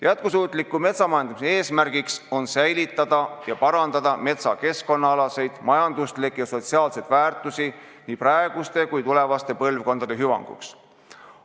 Jätkusuutliku metsamajanduse eesmärk on säilitada ja suurendada metsa keskkonnaalast, majanduslikku ja sotsiaalset väärtust nii praeguste kui ka tulevaste põlvkondade hüvanguks.